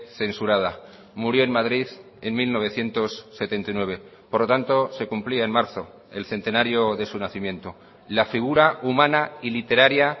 censurada murió en madrid en mil novecientos setenta y nueve por lo tanto se cumplía en marzo el centenario de su nacimiento la figura humana y literaria